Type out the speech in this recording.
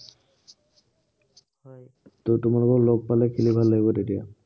ত তোমালোকক লগ পালে খেলি ভাল লাগিব তেতিয়া।